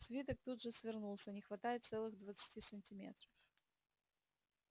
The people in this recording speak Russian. свиток тут же свернулся не хватает целых двадцати сантиметров